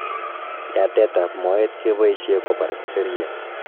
yatet ap moet kepaishe kopar seriat